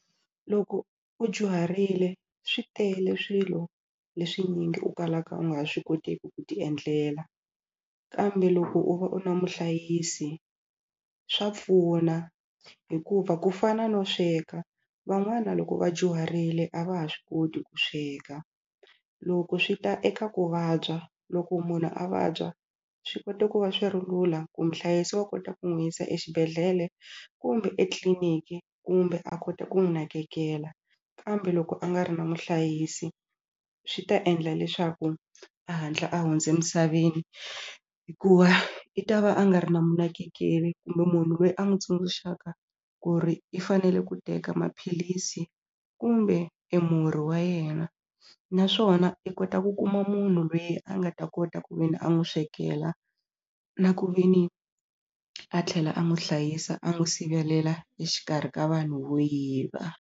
Loko u dyuharile swi tele swilo leswinyingi u kalaka u nga swi koteki ku ti endlela kambe loko u va u na muhlayisi swa pfuna hikuva ku fana no sweka van'wana loko va dyuharile a va ha swi koti ku sweka loko swi ta eka ku vabya loko munhu a vabya swi kota ku va swi ri lula ku muhlayisi wa kota ku n'wi yisa exibedhlele kumbe etliniki kumbe a kota ku n'wu nakekela kambe loko a nga ri na muhlayisi swi ta endla leswaku a hatla a hundze emisaveni hikuva i ta va a nga ri na mu nakekeli kumbe munhu lweyi a n'wi tsundzuxaka ku ri i fanele ku teka maphilisi kumbe emurhi wa yena naswona i kota ku kuma munhu lweyi a nga ta kota ku ve ni a n'wu swekela na ku ve ni a tlhela a n'wu hlayisa a n'wu sivelela exikarhi ka vanhu vo yiva.